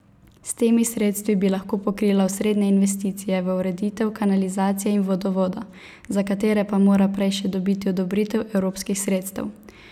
S temi sredstvi bi lahko pokrila osrednje investicije v ureditev kanalizacije in vodovoda, za katere pa mora prej še dobiti odobritev evropskih sredstev.